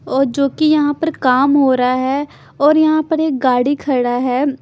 और जो कि यहाँ पर काम हो रहा है और यहाँ पर एक गाडी खड़ा है।